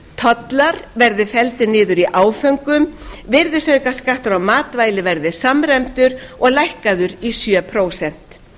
tollar verði felldir niður í áföngum virðisaukaskattur á matvæli verði samræmdur og lækkaður í sjö prósent